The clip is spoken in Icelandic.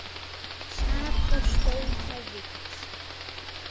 Sat og stóð á víxl.